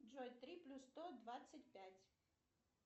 джой три плюс сто двадцать пять